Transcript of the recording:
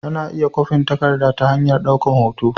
Ana iya kwafin takarda ta hanyar daukar hoto